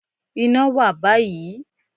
Iná wà báyìí